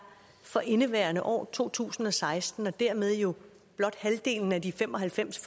for indeværende år to tusind og seksten og dermed jo blot halvdelen af de fem og halvfems